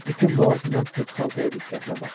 İtin boğazından tutub xaltaya diqqətlə baxır.